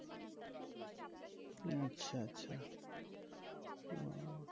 আচ্ছা আচ্ছা ও